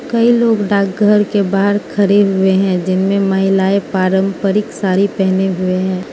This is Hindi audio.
कई लोग डाकघर के बाहर खड़े हुए हैं जिन में महिलाएं पारंपरिक साड़ी पहने हुए हैं।